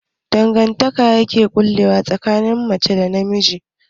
Mene ne dangantaka yake ƙullawa tsakanin namiji da mace?